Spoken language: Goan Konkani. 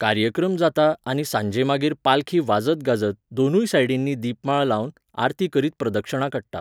कार्यक्रम जाता आनी सांजे मागीर पालखी वाजत गाजत, दोनूय सायडिंनी दिपमाळ लावन, आरती करीत प्रदक्षणा काडटा.